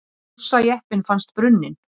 Rússajeppinn fannst brunninn